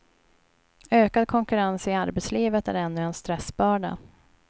Ökad konkurrens i arbetslivet är ännu en stressbörda.